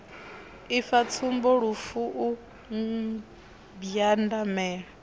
ifa tsumbo lufu u mbwandamela